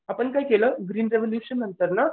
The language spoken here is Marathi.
आपण काय केलं ग्रीन रेव्होल्यूशन नंतर ना